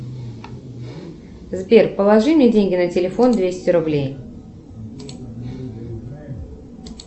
сбер положи мне деньги на телефон двести рублей